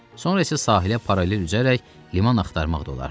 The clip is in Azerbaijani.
Sonra isə sahilə paralel üzərək liman axtarmaq da olardı.